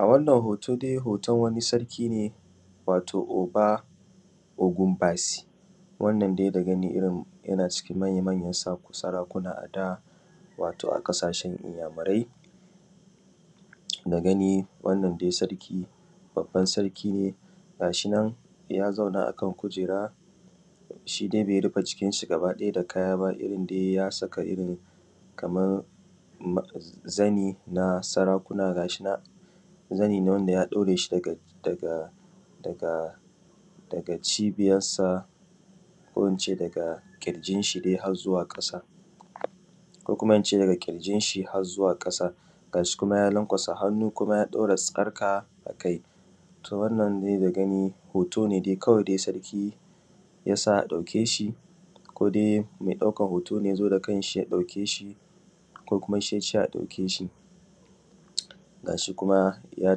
A wannan hoto dai hoton wani sarki wato oba ogun basi wannan dai da gani yana daga cikin manya manyan sarakuna ada wato a ƙasashen inyamurai da gani wannan dai sarki babban sarki ne ga shinan ya zauna akan kujera shidai bai rufe cikin shi gaba ɗaya da kaya bay a saka Kaman zani ne wanda ya ɗaure shi daga cibiyan sa ko ince daga kirjinshi zuwa dai har zuwa ƙasa ko kuma ince daga kirjin shi har zuwa ƙasa. Gashinan ya lankwasa hannu kuma ya ɗaura sarƙa akai, to wannan dai dagani hoto ne dai kawai dai sarki yasa ɗauke shi kodai me ɗaukan hoto ne yazo ya ɗauke shi ko kuma shi yace a ɗauke shi. Gashi kuma ya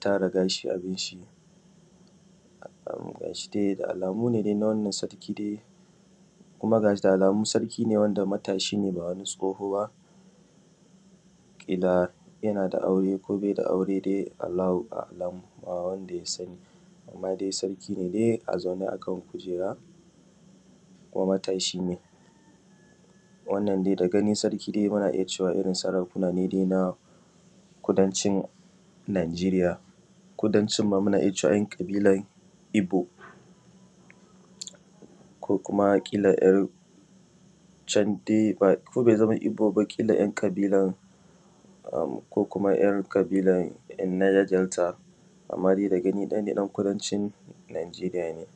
tara gashi akanshi da alamu ne dai wannan sarki dai kuma sarki ne wanda matashi ne ba wani tsoho ba, ƙila yanada aure ko baida aure dai Allahu a’alamu ba wanda ya sani amma dai sarki ne dai a zaune akan kujera kuma matan shine. Wannan dai dagani dai muna iyya cewa sarki ne na kudancin najeriya, kudancin ma muna iyya cewa ‘yan’ ƙabilan ibo ko kuma kila candai ko bai zama igbo ba ƙila ‘yan’ kabilan ko kuma ‘yan’ kabilan nija delta amma dai da gani dai ɗan kudancin najeriya ne.